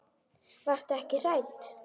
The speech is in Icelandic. Varstu ekki hrædd?